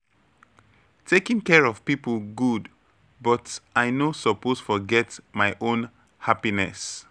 Taking care of people good, but I no suppose forget my own happiness.